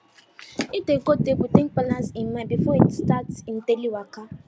he dey go temple take balance him mind before he start him daily waka